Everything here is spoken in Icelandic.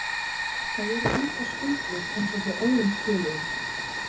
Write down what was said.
Það eru engar skuldir eins og hjá öðrum félögum.